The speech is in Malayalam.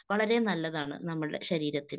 വളരേ നല്ലതാണ് നമ്മൾടെ ശരീരത്തിന്.